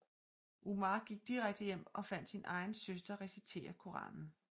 Umar gik direkte hjem og fandt sin egen søster recitere Koranen